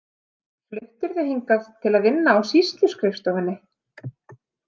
Fluttirðu hingað til að vinna á sýsluskrifstofunni?